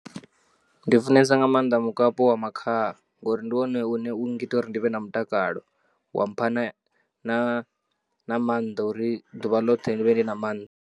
Ndi funesa nga maanḓa mukapu wa makhaha ngori ndi wone une u ngita uri ndi vhe na mutakalo wa pha na, na na maanḓa a uri ḓuvha ḽoṱhe ndi vhe ndi na maanḓa.